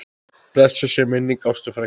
Blessuð sé minning Ástu frænku.